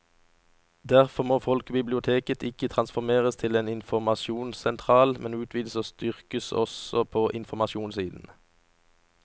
Derfor må folkebiblioteket ikke transformeres til en informasjonssentral, men utvides og styrkes også på informasjonssiden.